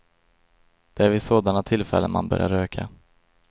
Det är vid sådana tillfällen man börjar röka.